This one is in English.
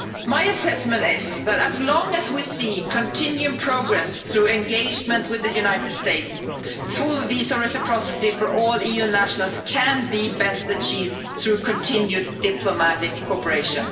My assessment is that as long as we see continuing progress through engagement with the United States, full visa reciprocity for all EU nationals can be best achieved through continued diplomatic cooperation.